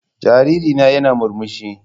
Jariri na yana murmushi.